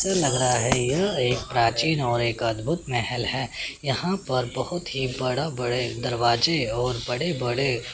लग रहा है यह एक प्राचीन और एक अद्भुत महेल है यहां पर बहुत ही बड़ा बड़े दरवाजे और बड़े बड़े--